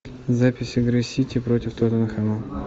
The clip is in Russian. запись игры сити против тоттенхэма